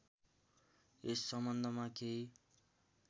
यस सम्बन्धमा केही